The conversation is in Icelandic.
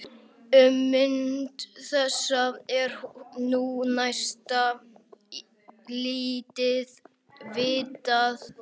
Um mynd þessa er nú næsta lítið vitað.